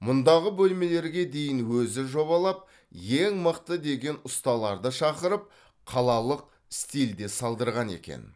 мұндағы бөлмелерге дейін өзі жобалап ең мықты деген ұсталарды шақырып қалалық стильде салдырған екен